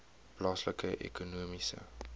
plaaslike ekonomiese